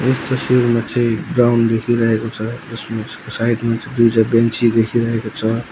यस तस्वीरमा चाहिँ ग्राउन्ड देखिरहेको छ यसमा स साइड मा चाहिँ दुईटा बेन्ची देखिरहेको छ।